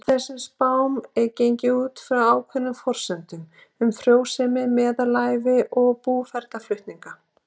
Í þessum spám er gengið út frá ákveðnum forsendum um frjósemi, meðalævi og búferlaflutninga.